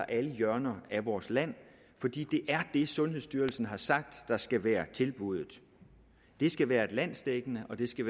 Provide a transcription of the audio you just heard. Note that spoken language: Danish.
alle hjørner af vores land fordi det er det sundhedsstyrelsen har sagt skal være tilbuddet det skal være landsdækkende og det skal